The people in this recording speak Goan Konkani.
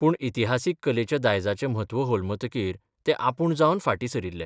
पूण इतिहासीक कलेच्या दायजाचें म्हत्व होलमतकीर ते आपूण जावन फार्टी सरिल्ले.